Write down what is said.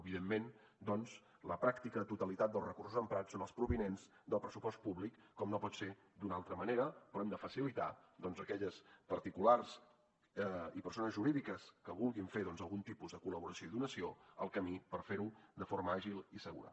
evidentment la pràctica totalitat dels recursos emprats són els provinents del pressupost públic com no pot ser d’una altra manera però hem de facilitar a aquelles particulars i persones jurídiques que vulguin fer algun tipus de col·laboració i donació el camí per fer ho de forma àgil i segura